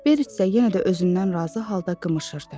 Berit də yenə də özündən razı halda qımışırdı.